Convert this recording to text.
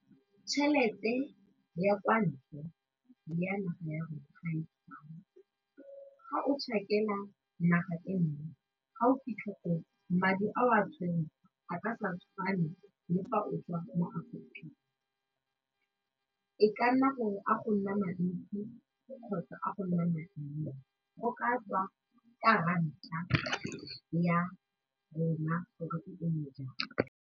Tšhelete ya kwa ntle le ya naga ya gage ga e tshwane, ga o naga e nngwe ga o fitlha koo madi a o a tshwereng a ka se tshwane le fa o otswa mo e ka nna gore a go nna mantsi kgotsa a go nna ma nnye go ka tswa ka ranta ya rona gore e eme jang.